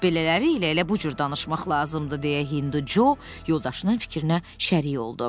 Belələri ilə elə bu cür danışmaq lazımdır deyə Hindu Co yoldaşının fikrinə şərik oldu.